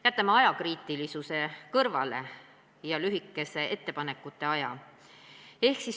Jätame kõrvale ajakriitilisuse ja lühikese ettepanekute esitamise aja.